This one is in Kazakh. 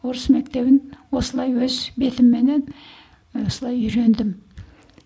орыс мектебін осылай өз бетімменен осылай үйрендім